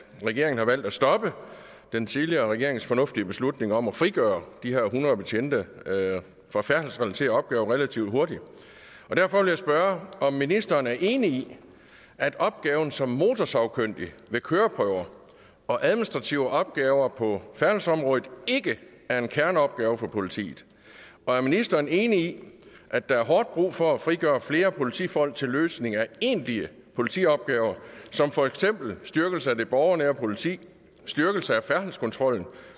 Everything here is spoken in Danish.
regeringen har valgt at stoppe den tidligere regerings fornuftige beslutning om at frigøre de her hundrede betjente fra færdselsrelaterede opgaver relativt hurtigt og derfor vil jeg spørge om ministeren er enig i at opgaven som motorsagkyndig ved køreprøver og administrative opgaver på færdselsområdet ikke er en kerneopgave for politiet og er ministeren enig i at der er hårdt brug for at frigøre flere politifolk til løsning af egentlige politiopgaver som for eksempel styrkelse af det borgernære politi styrkelse af færdselskontrollen